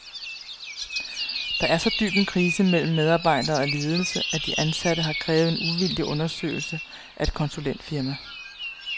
Der er så dyb en krise mellem medarbejdere og ledelse, at de ansatte har krævet en uvildig undersøgelse af et konsulentfirma.